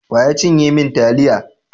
Wa ya cinye min taliyata?